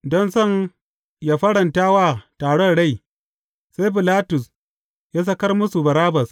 Don son yă faranta wa taron rai, sai Bilatus ya sakar musu Barabbas.